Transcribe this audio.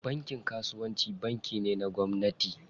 Bankin kasuwanci banki ne na gwamnati.